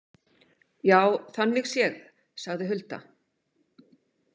Já, þannig séð, sagði Hulda.